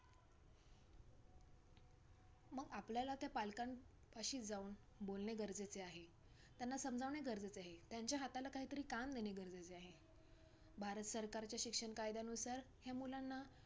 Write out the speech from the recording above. मग आपल्याला त्या पालकांपाशी जाऊन बोलणे गरजेचे आहे, त्यांना समजावणे गरजेचे आहे. त्यांच्या हाताला काहीतरी काम देणे गरजेचे आहे. भारत सरकारच्या शिक्षण कायद्यानुसार ह्या मुलांना,